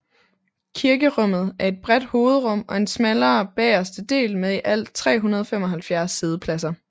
Kirkerummet er et bredt hovedrum og en smallere bagerste del med i alt 375 siddepladser